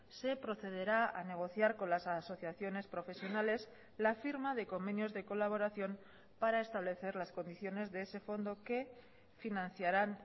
se procederá a negociar con las asociaciones profesionales la firma de convenios de colaboración para establecer las condiciones de ese fondo que financiarán